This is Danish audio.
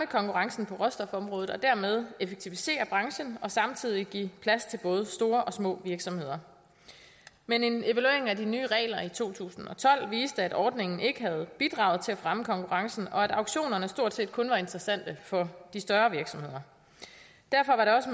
konkurrencen på råstofområdet og dermed effektivisere branchen og samtidig give plads til både store og små virksomheder men en evaluering af de nye regler i to tusind og tolv viste at ordningen ikke havde bidraget til at fremme konkurrencen og at auktionerne stort set kun var interessante for de større virksomheder derfor var det også